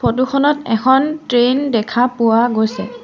Photo খনত এখন train দেখা পোৱা গৈছে।